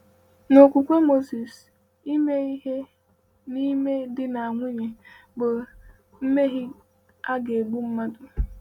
N’okwukwe Moses, ime ihe n’ime di na nwunye bụ mmehie a ga-egbu mmadụ.